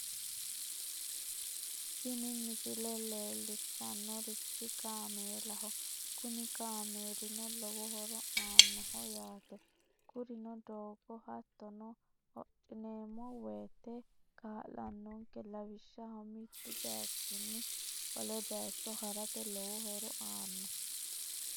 tini misile leellishshannorichi kaameelaho kuni kaameelino lowo horo aannoho yaate kurino doogo hattono hodhineemmo woyte kaa'lannonke lawishshaho mittu bayiichinni wole bayiicho harate lowo horo aanno.